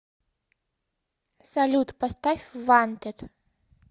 салют поставь вантед